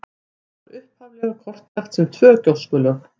Það var upphaflega kortlagt sem tvö gjóskulög.